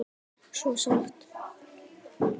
Svo sárt.